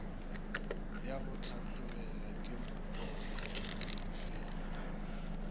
ya go hlahlobela ke mokgadifela